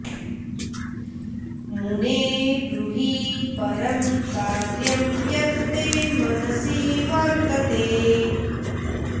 मुने ब्रूहि परं कार्यं यत् ते मनसि वर्तते